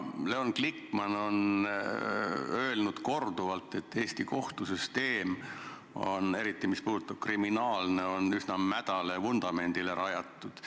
Leon Glikman on öelnud korduvalt, et Eesti kohtusüsteem, eriti mis puudutab kriminaale, on üsna mädale vundamendile rajatud.